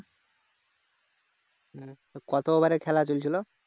কত over খেলা চলছিল